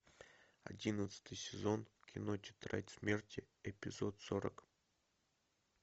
одиннадцатый сезон кино тетрадь смерти эпизод сорок